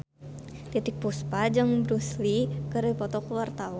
Titiek Puspa jeung Bruce Lee keur dipoto ku wartawan